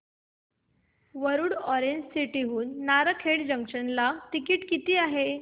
Warud orange city हून Narkhed junction किती ticket आहे